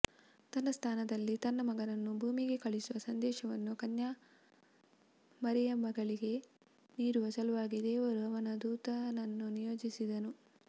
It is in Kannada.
ತನ್ನ ಸ್ಥಾನದಲ್ಲಿ ತನ್ನ ಮಗನನ್ನು ಭೂಮಿಗೆ ಕಳುಹಿಸುವ ಸಂದೇಶವನ್ನು ಕನ್ಯಾ ಮರಿಯಮ್ಮಳಿಗೆ ನೀಡುವ ಸಲುವಾಗಿ ದೇವರು ಅವನ ದೂತನನ್ನು ನಿಯೋಜಿಸಿದರು